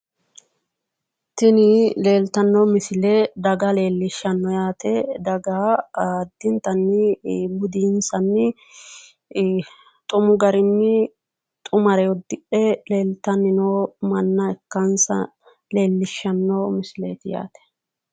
Tini leeltanno misile daga leellishshanno yaate daga addintanni budinsanni xumu garinni xumare uddidhe leeltanni noo manna ikkansa leellishanno misileeti yaate.